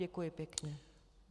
Děkuji pěkně.